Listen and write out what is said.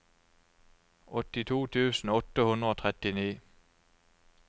åttito tusen åtte hundre og trettini